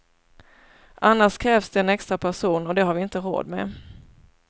Annars krävs det en extra person och det har vi inte råd med.